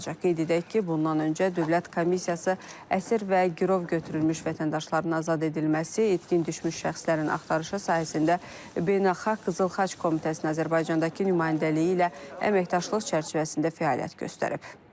Qeyd edək ki, bundan öncə Dövlət Komissiyası əsir və girov götürülmüş vətəndaşların azad edilməsi, itkin düşmüş şəxslərin axtarışı sahəsində Beynəlxalq Qızıl Xaç Komitəsinin Azərbaycandakı nümayəndəliyi ilə əməkdaşlıq çərçivəsində fəaliyyət göstərib.